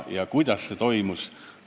Ja kuidas see teoks sai?